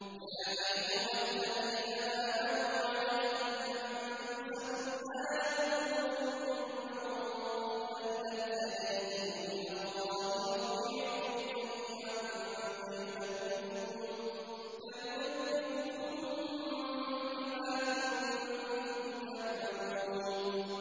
يَا أَيُّهَا الَّذِينَ آمَنُوا عَلَيْكُمْ أَنفُسَكُمْ ۖ لَا يَضُرُّكُم مَّن ضَلَّ إِذَا اهْتَدَيْتُمْ ۚ إِلَى اللَّهِ مَرْجِعُكُمْ جَمِيعًا فَيُنَبِّئُكُم بِمَا كُنتُمْ تَعْمَلُونَ